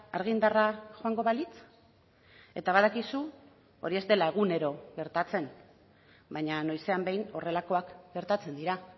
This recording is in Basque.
argindarra joango balitz eta badakizu hori ez dela egunero gertatzen baina noizean behin horrelakoak gertatzen dira